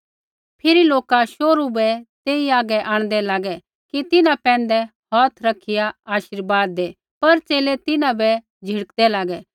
फिरी लौका शोहरु बै तेई आगै आंणदै लागे कि तिन्हां पैंधै हौथ रैखिया आशीर्वाद दै पर च़ेले तिन्हां बै झिड़कदै लागै